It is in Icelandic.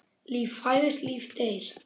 Líf fæðist, líf deyr.